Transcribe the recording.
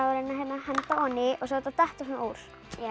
henda ofan í og svo á þetta að detta úr